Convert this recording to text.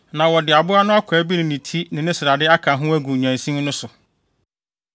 Na wɔde aboa no akwaa bi ne ne ti ne ne srade ka ho agu nnyansin no so.